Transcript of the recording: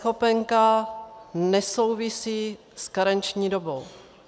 eNeschopenka nesouvisí s karenční dobou.